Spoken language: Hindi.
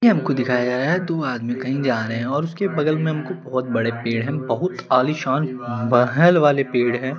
ये हमको दिखाया है दो आदमी कहि जा रहे है और उसके बगल में बहुत बड़े पेड़ है बहुत आलिशान महल वाले पेड़ है ।